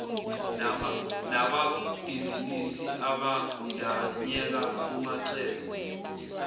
nababhizinisi abandanyeka kumacebo